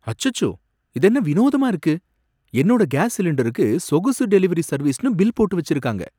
அச்சச்சோ, இதென்ன வினோதமா இருக்கு! என்னோட கேஸ் சிலிண்டருக்கு சொகுசு டெலிவரி சர்வீஸ்னு பில் போட்டு வச்சிருக்காங்க.